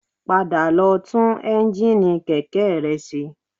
Padà lọ tún ẹ́ńjíìnì kẹ̀kẹ́ rẹ ṣe